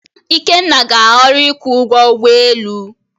Ikenna ga-ahọrọ ịkwụ ụgwọ ụgbọ elu.